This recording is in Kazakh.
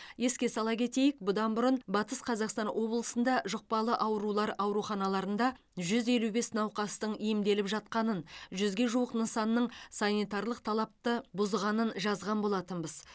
еске сала кетейік бұдан бұрын батыс қазақстан облысында жұқпалы аурулар ауруханаларында жүз елу бес науқастың емделіп жатқанын жүзге жуық нысанның санитарлық талапты бұзғанын жазған болатынбыз